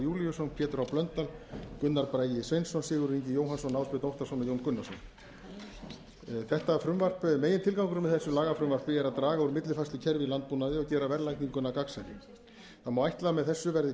júlíusson pétur h blöndal gunnar bragi sveinsson sigurður ingi jóhannsson ásbjörn óttarsson og jón gunnarsson megintilgangurinn með þessu lagafrumvarpi er að draga úr millifærslukerfi í landbúnaði og gera verðlagninguna gagnsærri ætla má að með þessu verði